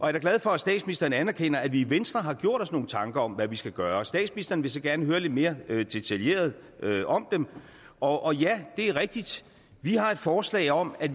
er da glad for at statsministeren anerkender at vi i venstre har gjort os nogle tanker om hvad vi skal gøre statsministeren vil så gerne høre lidt mere detaljeret om dem og ja det er rigtigt at vi har et forslag om at